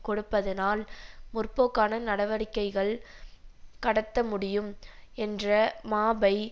கொடுப்பதனால் முற்போக்கான நடவடிக்கைகள் கடத்த முடியும் என்ற மாபை